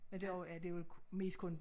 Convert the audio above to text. Ja derovre er det jo mest kun